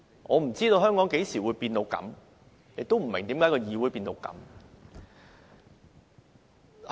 我不知道香港何時變成這樣，亦不明為何議會變成這樣。